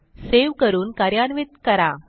save करून कार्यान्वित करा